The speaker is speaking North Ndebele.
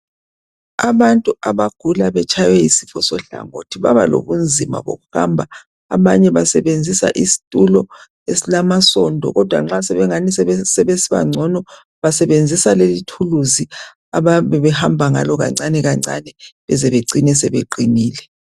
Abantu abagula betshaywe yisifo sohlangothi babalobunzima bokuhamba abanye basenzisa isitulo esilama sondo kodwa nxa sebencono basenzisa lelo ituluzi abayabe behamba ngalo kancane kancane bezebecine sebeqinile